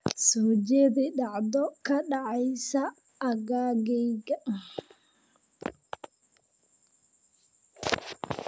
soo jeedi dhacdo ka dhacaysa aaggayga